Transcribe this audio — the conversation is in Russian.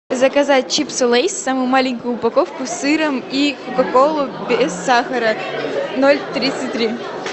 заказать чипсы лейс самую маленькую упаковку с сыром и кока колу без сахара ноль тридцать три